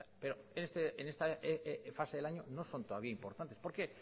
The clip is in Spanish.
pero en esta fase del año no son todavía importantes por qué